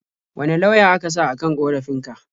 Wane lauya aka sa a kan ƙorafin ka?